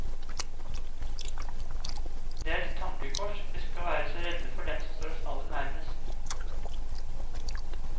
Det er et tankekors at vi skal være så redde for dem som står oss aller nærmest.